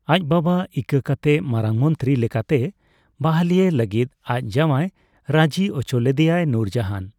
ᱟᱡ ᱵᱟᱵᱟ ᱤᱠᱟᱹ ᱠᱟᱛᱮ ᱢᱟᱨᱟᱝ ᱢᱚᱱᱛᱨᱤ ᱞᱮᱠᱟᱛᱮ ᱵᱟᱹᱦᱞᱤᱭᱮ ᱞᱟᱹᱜᱤᱫ ᱟᱡ ᱡᱟᱣᱟᱭ ᱨᱟᱹᱡᱤ ᱚᱪᱚ ᱞᱮᱫᱮᱭᱟᱭ ᱱᱩᱨᱡᱟᱦᱟᱱ ᱾